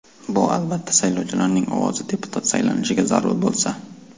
Bu, albatta, saylovchilarning ovozi deputat saylanishiga zarur bo‘lsa.